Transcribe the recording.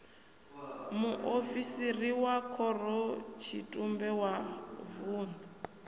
muofisiri wa khorotshitumbe wa vun